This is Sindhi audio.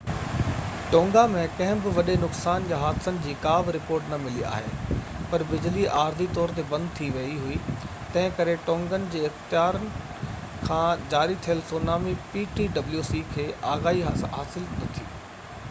ٽونگا ۾ ڪنهن بہ وڏي نقصان يا حادثن جي ڪا بہ رپورٽ نہ ملي آهي پر بجلي عارضي طور تي بند ٿي ويئي هئي تنهن ڪري ٽونگن جي اختيارن کي ptwc کان جاري ٿيل سونامي آگاهي حاصل نہ ٿي